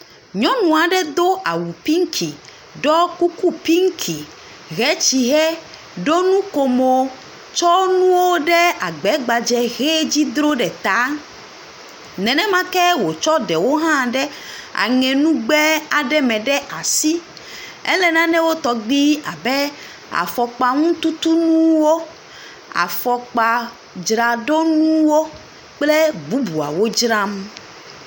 Nyɔnu aɖe do awu piŋki ɖɔ kuku piŋki hɛ tsihɛ ɖo nukomo tsɔ nuwo ɖe agba gbadze he dzi dro ɖe ta. Nenema ke wotsɔ ɖewo hã ɖe aŋenugba aɖe me ɖe asi. Elé nanewo tɔgbi abe; afɔkpaŋututunuwo, afɔkpadzraɖonuwo kple bubuawo dzram.